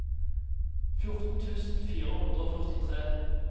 fjorten tusen fire hundre og førtitre